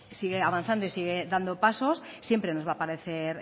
sigue avanzando y sigue dando pasos siempre nos va a parecer